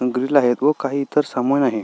Grill आहेत व काही इतर सामान आहे.